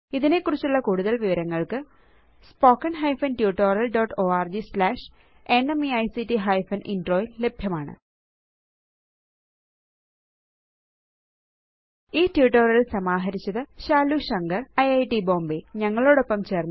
ഇതിനെക്കുറിച്ചുള്ള കൂടുതല് വിവരങ്ങള് spoken hyphen tutorial dot org slash ന്മെയ്ക്തിഫെൻ ഇൻട്രോ യില് ലഭ്യമാണ് ഈ ട്യൂട്ടോറിയൽ സമാഹരിച്ചത് ശാലു ശങ്കർ ഐറ്റ് ബോംബേ